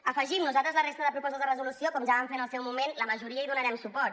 hi afegim nosaltres a la resta de propostes de resolució com ja vam fer en el seu moment a la majoria hi donarem suport